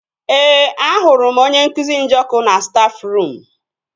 Ee, ahụrụ m onye nkụzi Njọkụ na stafruum